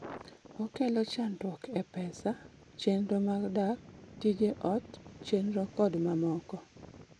Okelo chandruok e pesa, chenro mag dak, tije ot, chenro kod mamoko